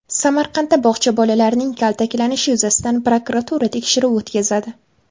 Samarqandda bog‘cha bolalarining kaltaklanishi yuzasidan prokuratura tekshiruv o‘tkazadi.